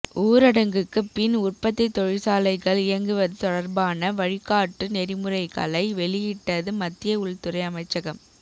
ஊரடங்குக்கு பின் உற்பத்தி தொழிற்சாலைகள் இயங்குவது தொடர்பான வழிகாட்டு நெறிமுறைகளை வெளியிட்டது மத்திய உள்துறை அமைச்சகம்